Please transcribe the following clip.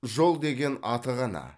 жол деген аты ғана